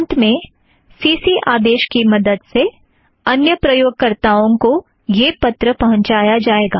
अंत में सीसी आदेश की मदद से अन्य प्राप्तकर्ताओं को यह पत्र पहूँचाया जाएगा